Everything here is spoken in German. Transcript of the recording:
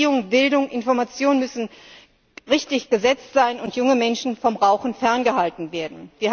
Erziehung, Bildung, Information müssen richtig gesetzt sein und junge Menschen vom Rauchen ferngehalten werden.